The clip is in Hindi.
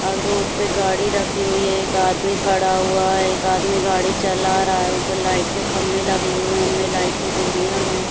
आगे रोड पे गाड़ी रखी हुई है एक आदमी खड़ा हुआ है एक आदमी गाड़ी चला रहा है ऊपर लाइट के खंभे लगे हुए है उनमे लाइट की डोरियाँ है।